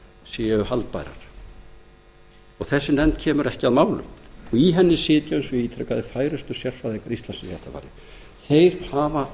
séu haldbærar og hún kemur ekki að málum í henni sitja eins og ég ítrekaði færustu sérfræðingar íslands í réttarfari þeir